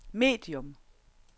medium